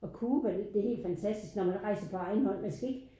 Og Cuba det helt fantastisk når man rejser på egen hånd man skal ikke